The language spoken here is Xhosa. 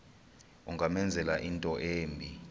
ungamenzela into embi